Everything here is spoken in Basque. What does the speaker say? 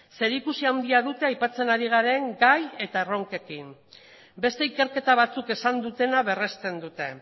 zerikusi handia dute aipatzen ari garen gai eta erronkekin beste ikerketa batzuk esan dutena berrezten dute